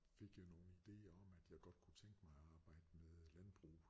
Fik jeg nogle idéer om at jeg godt kunne tænke mig at arbejde med landbrug